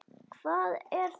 Hvað er þá eftir?